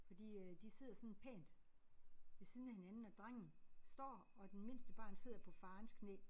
Fordi øh de sidder sådan pænt ved siden af hinanden og drengen står og den mindste barn sidder på farens knæ